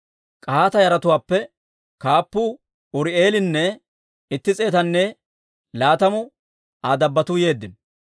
K'ahaata yaratuwaappe kaappuu Uri'eelinne itti s'eetanne laatamu Aa dabbotuu yeeddino.